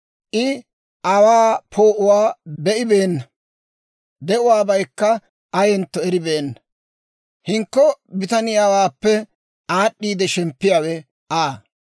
I aawaa poo'uwaa be'ibeenna; de'uwaabaykka ayentto eribeenna. Hinkko bitaniyaawaappe aad'd'iide shemppiyaawe Aa.